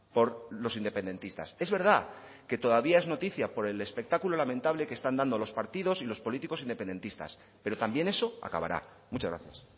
por los independentistas es verdad que todavía es noticia por el espectáculo lamentable que están dando los partidos y los políticos independentistas pero también eso acabará muchas gracias